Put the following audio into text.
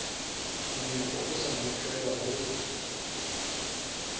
monyako o sa notlelwa ho